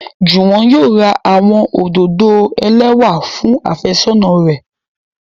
Juwon yóò ra awọn ododo elẹwa fun afesona rẹ